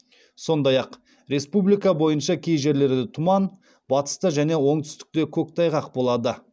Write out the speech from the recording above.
сондай ақ республика бойынша кей жерлерде тұман батыста және оңтүстікте көктайғақ болады